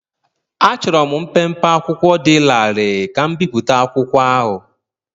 Achọrọ m mpempe akwụkwọ dị larịị ka m bipụta akwụkwọ ahụ.